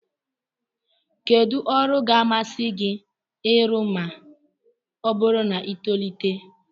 Kedụ ọrụ ga-amasị gị ịrụ ma ọ bụrụ na i tolite?